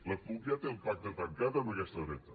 la cup ja té el pacte tancat amb aquesta dreta